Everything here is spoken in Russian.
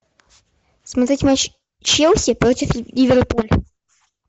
смотреть матч челси против ливерпуль